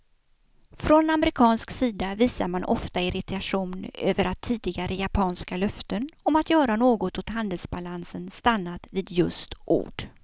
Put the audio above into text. Från amerikansk sida visar man ofta irritation över att tidigare japanska löften om att göra något åt handelsbalansen stannat vid just ord.